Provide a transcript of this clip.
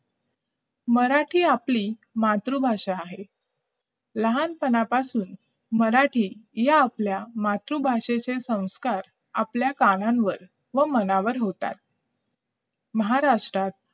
मराठी ही आपली मातृभाषा आहे लहानपणापासून मराठी या आपल्या मातृभाषेतील संस्कार आपल्या कानावर व मनावर होतात महाराष्ट्रात